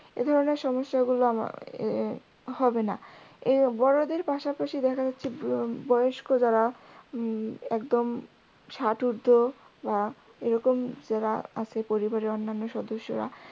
এধরণের সমস্যাগুলো আমার এর হবে না যা এর বড়দের পাশাপাশি দেখা যাচ্ছে উম বয়স্ক যারা উম একদম ষাটঊর্ধ আহ বা এরকম যারা আছে পরিবারের অন্যান্য সদস্যরা